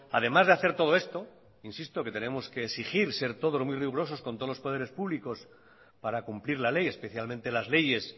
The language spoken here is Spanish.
además de hacer todo esto insisto en que tenemos que exigir ser todos muy rigurosos con todos los poderes públicos para cumplir la ley especialmente las leyes